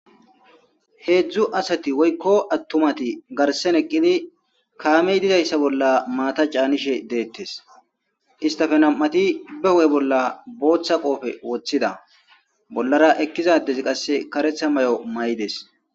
Heedzdzu asati woykko attumati garsen eqqidi kaamey dizayssa bolla maata caanishe deettes istafe nam7ati be ho7e bolla booththa qoofe woththida bollara ekkizadezi qasse karetha may'o may7des.